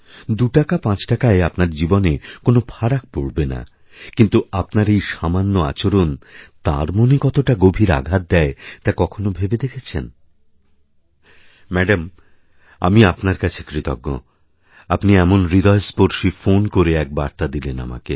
দুটাকা পাঁচ টাকায় আপনার জীবনে কোনো ফারাক পড়বে না কিন্তু আপনার এই সামান্য আচরণতার মনে কতটা গভীর আঘাত দেয় তা কখনও ভেবে দেখেছেন ম্যাডাম আমি আপনার কাছেকৃতজ্ঞ আপনি এমন হৃদয়স্পর্শী ফোন করে এক বার্তা দিলেন আমাকে